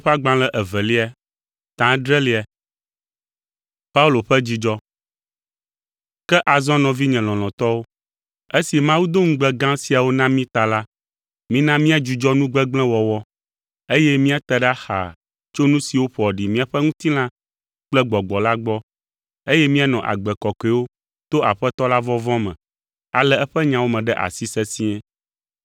Ke azɔ nɔvinye lɔlɔ̃tɔwo, esi Mawu do ŋugbe gã siawo na mí ta la, mina míadzudzɔ nu gbegblẽ wɔwɔ, eye míate ɖa xaa tso nu siwo ƒoa ɖi míaƒe ŋutilã kple gbɔgbɔ la gbɔ, eye míanɔ agbe kɔkɔewo to Aƒetɔ la vɔvɔ̃ me, alé eƒe nyawo me ɖe asi sesĩe.